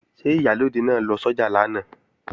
Ṣé Ìyálóde náà lọ sọ́jà lánàá?